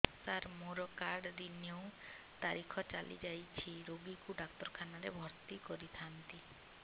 ସାର ମୋର card renew ତାରିଖ ଚାଲି ଯାଇଛି ରୋଗୀକୁ ଡାକ୍ତରଖାନା ରେ ଭର୍ତି କରିଥାନ୍ତି